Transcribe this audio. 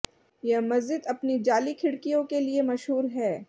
यह मस्जिद अपनी जाली खिड़कियों के लिए मशहूर है